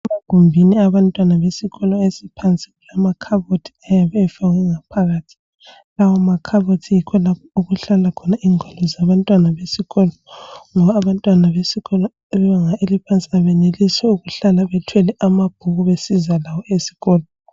Egumbini abantwana besikolo esiphansi kulamakhabothi ayabe efakwe ngaphakathi. Lawo makhabothi yikho lapho okuhlala khona ingwalo zabantwana besikolo ngoba abantwana besikolo sebanga eliphansi abenelisi ukuhlala bethwele amabhuku besiza lawo esikolo.